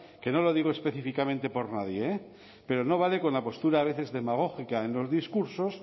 que no lo digo específicamente por nadie eh pero no vale con la postura a veces demagógica en los discursos